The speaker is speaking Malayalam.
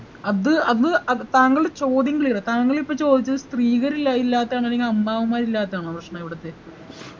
അത് അത് അത് താങ്കളുടെ ചോദ്യം clear അല്ല താങ്കളിപ്പൊ ചോദിച്ചത് സ്ത്രീകളില്ല ഇല്ലാത്ത ആണോ അല്ലെങ്കി അമ്മാവന്മാരില്ലാത്തതാണോ പ്രശ്നം ഇവിടത്തെ